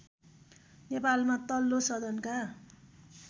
नेपालमा तल्लो सदनका